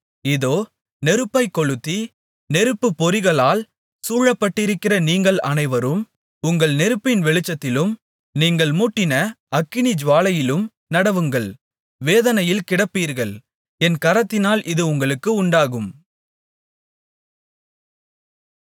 இதோ நெருப்பைக் கொளுத்தி நெருப்புப்பொறிகளால் சூழப்பட்டிருக்கிற நீங்கள் அனைவரும் உங்கள் நெருப்பின் வெளிச்சத்திலும் நீங்கள் மூட்டின அக்கினிஜூவாலையிலும் நடவுங்கள் வேதனையில் கிடப்பீர்கள் என் கரத்தினால் இது உங்களுக்கு உண்டாகும்